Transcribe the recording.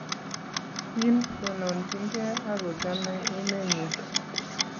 kim, tononchinigei ak kochomei emenyin